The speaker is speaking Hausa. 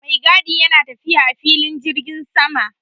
Maigadi yana tafiya a filin jirgin sama